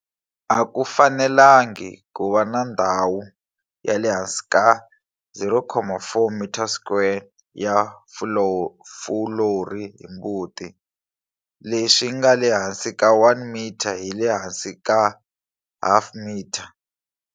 A ku fanelangi ku va na ndhawu ya le hansi ka 0,4 m2 ya fulori hi mbuti, leswi nga le hansi ka 1 m hi le hansi ka half m.